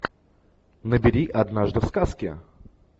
набери однажды в сказке